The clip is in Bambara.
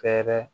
Fɛɛrɛ